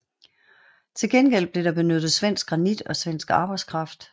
Til gengæld blev der benyttet svensk granit og svensk arbejdskraft